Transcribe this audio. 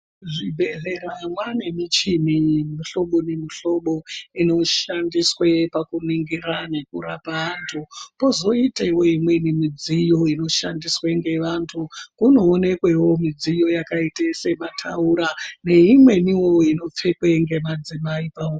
Muzvibhedhlera mwaane mishini yemihlobo nemihlobo inoshandiswe pakuningira nekurapa antu. Pozoitawo imweni midziyo inoshandiswe ngevantu kunoonekwewo midziyo yakaita semataura neimweniwo inopfekwe ngemadzimai.